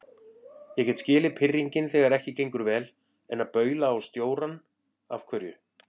Ég get skilið pirringinn þegar ekki gengur vel, en að baula á stjórann. af hverju?